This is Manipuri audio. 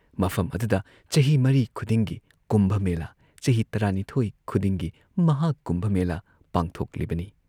ꯃꯐꯝ ꯑꯗꯨꯗ ꯆꯍꯤ ꯃꯔꯤ ꯈꯨꯗꯤꯡꯒꯤ ꯀꯨꯝꯚ ꯃꯦꯂꯥ, ꯆꯍꯤ ꯇꯔꯥꯅꯤꯊꯣꯏ ꯈꯨꯗꯤꯡꯒꯤ ꯃꯍꯥꯀꯨꯝꯚ ꯃꯦꯂꯥ ꯄꯥꯡꯊꯣꯛꯂꯤꯕꯅꯤ ꯫